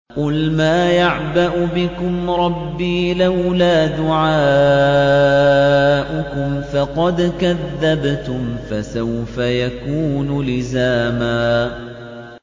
قُلْ مَا يَعْبَأُ بِكُمْ رَبِّي لَوْلَا دُعَاؤُكُمْ ۖ فَقَدْ كَذَّبْتُمْ فَسَوْفَ يَكُونُ لِزَامًا